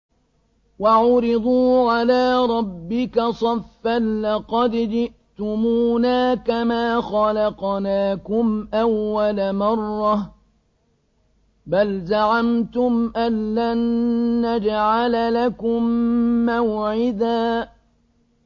وَعُرِضُوا عَلَىٰ رَبِّكَ صَفًّا لَّقَدْ جِئْتُمُونَا كَمَا خَلَقْنَاكُمْ أَوَّلَ مَرَّةٍ ۚ بَلْ زَعَمْتُمْ أَلَّن نَّجْعَلَ لَكُم مَّوْعِدًا